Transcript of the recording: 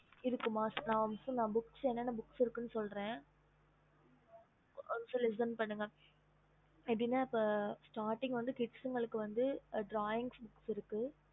ம் okay mam